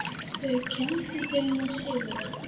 Þau kenndu þeim að sigra.